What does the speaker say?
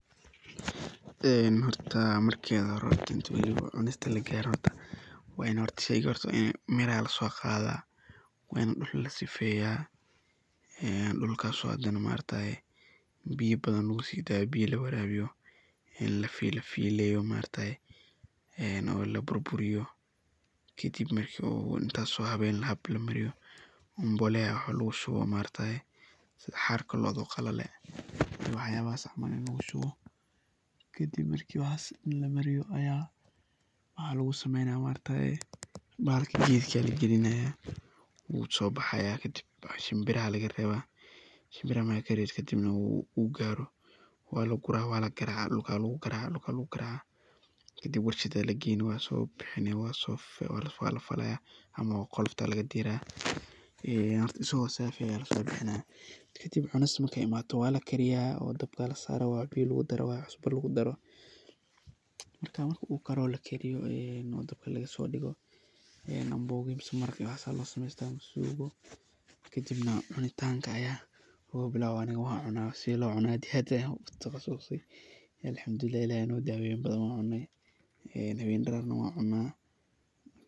Marka hore inta lagarin cunista ,sheyga waa ini laso qadaa miraha oo dhulka lasifeyaa. Biyo badan lagu sidayo ,la warabiyo lafileyo ,laburburiyo ,lasifeyo kadib mbolea lagu shubo sidha xarka locda oo qalale wax yalahas camal lagu shubo ,kadib marki wax dhan lamariyo aya waxa lagu sumeynaya maaragtaye ,bahalka geedka lagalinaya wuu so bahaya ,kadib shiimbiraha laga reba kadib uu garo waa lagura kadib dhulka lagu garacaa, dhulka lagu garacaa, kadib warshada lageyni wasobixini lasofalaya ama qolofta aa laga dirayaa ama asago safi ah aa laso bixinaya ,kadib cunista markey imado waa lakariya dabka aa lasaraa ,biyo iyo cusbo aa lagu daraa ,kadib marki lakariyo oo dabka lagasodigo canboga baris maraq iyo waxas aa lagu samesta ,kadibna cuni tanka aa lagu bilawa aniga sidha loo cuno .Aniga sidha loo cuno aad iyo aad ayan ugu taqasuse Alhamdulillah Ilahey aa ino daweyo in badan waan cune ,een hawen iyo dararna waan cuna.